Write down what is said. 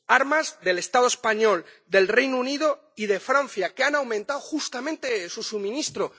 armas del Estado español, del Reino Unido y de Francia, que han aumentado justamente su suministro.